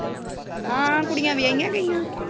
ਹਾਂ ਕੁੜੀਆਂ ਵਿਹਾਈਆਂ ਗਈਆਂ।